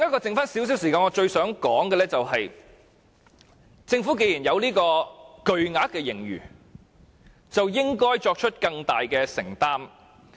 剩下少許時間，我想說：政府既然坐擁巨額盈餘，便應該作出更大的承擔。